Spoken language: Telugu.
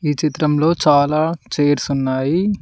ఈ చిత్రంలో చాలా చైర్స్ ఉన్నాయి.